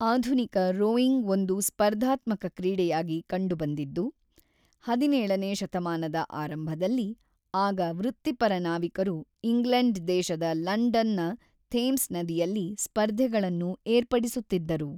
ಆಧುನಿಕ ರೋಯಿಂಗ್ ಒಂದು ಸ್ಪರ್ಧಾತ್ಮಕ ಕ್ರೀಡೆಯಾಗಿ ಕಂಡುಬಂದಿದ್ದು ಹದಿನೇಳನೇ ಶತಮಾನದ ಆರಂಭದಲ್ಲಿ, ಆಗ ವೃತ್ತಿಪರ ನಾವಿಕರು ಇಂಗ್ಲೆಂಡ್‌ ದೇಶದ ಲಂಡನ್‌ನ ಥೇಮ್ಸ್‌ ನದಿಯಲ್ಲಿ ಸ್ಪರ್ಧೆಗಳನ್ನು ಏರ್ಪಡಿಸುತ್ತಿದ್ದರು.